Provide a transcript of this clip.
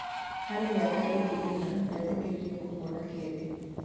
Harĩ mĩaka ingĩ-ĩna ndetĩkĩririo kũmuona Kedi.